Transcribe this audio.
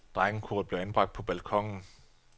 Drengekoret blev anbragt på balkonen.